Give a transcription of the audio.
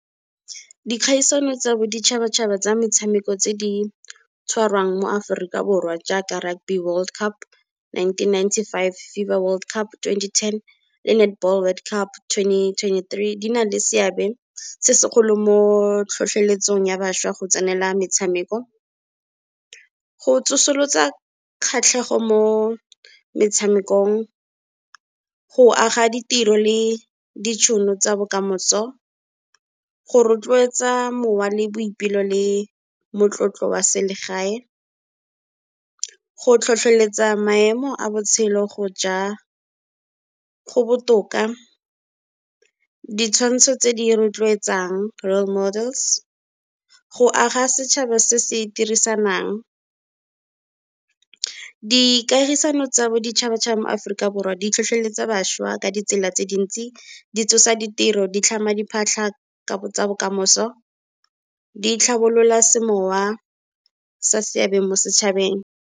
Dikgaisano tsa boditšhabatšhaba tsa metshameko tse di tshwarang mo Aforika Borwa jaaka Rugby World Cup, nineteen ninety-five, FIFA World Cup, twenty-ten le Netball World Cup, twenty twenty-three. Di na le seabe se segolo mo tlhotlheletsong ya bašwa go tsenela metshameko, go tsosolosa kgatlhego mo metshamekong, go aga ditiro le ditšhono tsa bokamoso, go rotloetsa mowa le boipelo le motlotlo wa selegae, go tlhotlheletsa maemo a botshelo go ja go botoka, ditshwantsho tse di rotloetsang, role models, go aga setšhaba se se dirisanang. Di kagisano tsa boditšhabatšhaba mo Aforika Borwa di tlhotlhweletsa bašwa ka ditsela tse dintsi, di tsosa ditiro, di tlhama diphatlha tsa bokamoso, di tlhabolola semowa sa seabe mo setšhabeng.